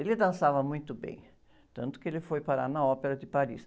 Ele dançava muito bem, tanto que ele foi parar na Ópera de Paris.